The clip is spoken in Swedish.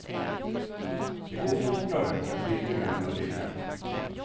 Det går fortare och är billigare än att ringa.